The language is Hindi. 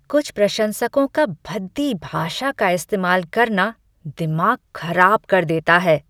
कुछ प्रशंसकों का भद्दी भाषा का इस्तेमाल करना दिमाग खराब कर देता है।